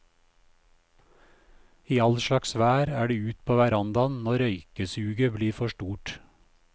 I all slags vær er det ut på verandaen når røykesuget blir for stort.